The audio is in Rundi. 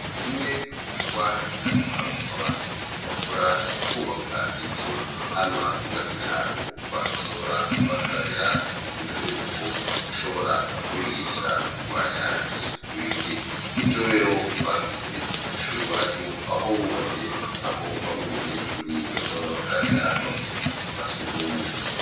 Kimwe mu gikorwa ngirakamaro abantu bakora ukwubaka inzu hama ugasiga ahantu bantu bazora bakarabira muntu mbere yuko ashobora kubigisha kurwanya isukurike ni co rero bakoze kw'ishuri wacu aho wubatse aho bamwe mu banyeshuri bazora bakarabira bavuye mu tuzu twa si ugwumwe.